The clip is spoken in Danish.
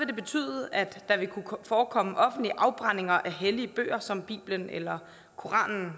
det betyde at der vil kunne forekomme offentlige afbrændinger af hellige bøger som bibelen eller koranen